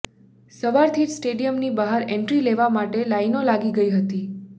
સવારથી જ સ્ટેડિયમની બહાર એન્ટ્રી લેવા માટે લાઈનો લાગી ગઈ હતી